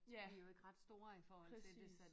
Ja præcis